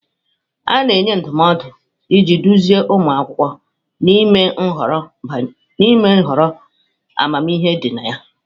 A na-enye ndụmọdụ iji duzie ụmụ akwụkwọ n'ime ihọrọ amamihe dị na ya.